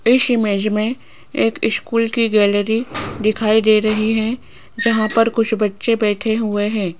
इस इमेज में एक स्कूल की गैलरी दिखाई दे रही है जहां पर कुछ बच्चे बैठे हुए हैं।